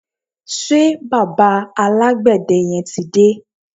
Ṣé bàbá alágbède yẹn ti dé?